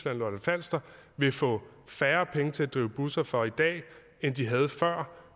og lolland falster vil få færre penge til at drive busser for end de havde før